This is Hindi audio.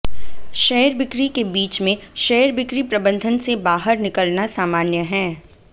शेयर बिक्री के बीच में शेयर बिक्री प्रबंधन से बाहर निकलना सामान्य है